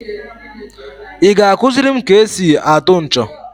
I ga akuziri m ka e si atụ ncho?